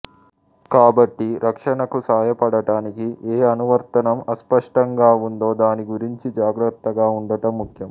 కాబట్టి రక్షణకు సహాయపడటానికి ఏ అనువర్తనం అస్పష్టంగా ఉందో దాని గురించి జాగ్రత్తగా ఉండటం ముఖ్యం